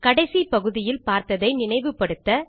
கடைசி பகுதியில் பார்த்ததை நினைவு படுத்த